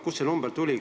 Kust see number tuli?